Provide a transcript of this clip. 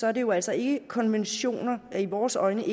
er det jo altså ikke konventioner der i vores øjne